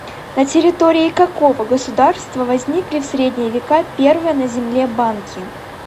на территории какого государства возникли в средние века первые на земле банки